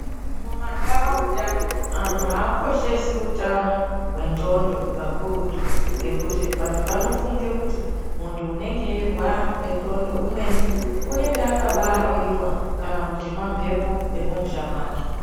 Mumanharaunda antu aakoshesi utano hwendxondo kakurutu ngekuti antu anofunga kuti anorwara ngendxondo anenge akabaa royiwa kana kuti mamhepo ekumusha kwake.